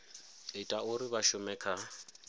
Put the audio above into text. ita uri vha shume kha